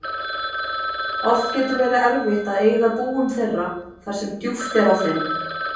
Oft getur verið erfitt að eyða búum þeirra þar sem djúpt er á þeim.